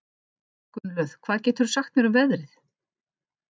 Gunnlöð, hvað geturðu sagt mér um veðrið?